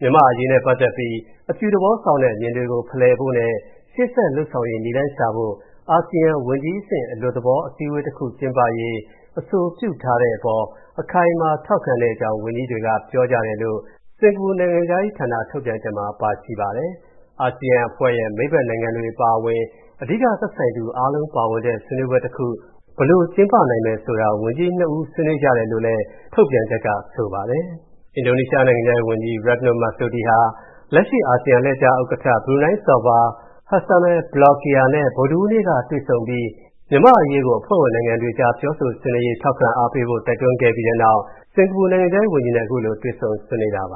တယ်။ "မြန်မာ့အရေးနဲ့ပတ်သက်ပြီး အပြုသဘောဆောင်တဲ့ အမြင်တွေကို ဖလှယ်ဖို့နဲ့ ရှေ့ဆက်လုပ်ဆောင်ရေး နည်းလမ်းရှာဖို့ အာဆီယံံ ဝန်ကြီးအဆင့် အလွတ်သဘော အစည်းအဝေးတစ်ခုကျင်းပရေး အဆိုပြုထားတဲ့အပေါ် အခိုင်အမာ ထောက်ခံတဲ့အကြောင်း ဝန်ကြီးတွေက ပြောကြပါတယ်" လို့ စင်္ကာပူနိုင်ငံခြားရေးဌာန ထုတ်ပြန်ချက်မှာ ပါရှိပါတယ်။ အာဆီယံအဖွဲ့ရဲ့ မိတ်ဘက်နိုင်ငံတွေအပါအဝင် အဓိက သက်ဆိုင်သူအားလုံးပါဝင်တဲ့ ဆွေးနွေးပွဲတခု ဘယ်လိုကျင်းပနိုင်မယ်ဆိုတာ ဝန်ကြီးနှစ်ီး ဆွေးနွေးကြတယ်လို့လည်း ထုတ်ပြန်ချက်ကဆိုပါတယ်။ အင်ဒိုနီးရှားနိုင်ငံခြားရေးဝန်ကြီး Retno Marsudi ဟာ လက်ရှိ အာဆီယံအလှည့်ကျဥက္ကဋ္ဌ ဘရူနိုင်းနိုင်ငံစော်ဘွား Hassanal Blokiah နဲ့ ဗုဒ္ဓဟူးနေ့က တွေ့ဆုံပြီး မြန်မာ့အရေးကို အဖွဲ့ဝင်နိုင်ငံတွေကြား ပြောဆိုဆွေးနွေးရေး ထောက်ခံအားပေးဖို့ တိုက်တွန်းခဲ့ပြီးတဲ့နောက် စင်္ကာပူနိုင်ငံခြားရေးဝန်ကြီးနဲ့ တွေ့ဆုံဆွေးနွေးတာပ